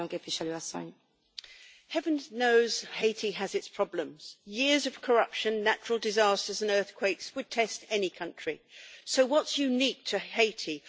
Madam President, heaven knows Haiti has its problems. Years of corruption, natural disasters and earthquakes would test any country, so what is unique to Haiti?